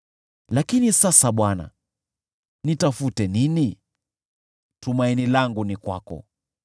“Lakini sasa Bwana, nitafute nini? Tumaini langu ni kwako.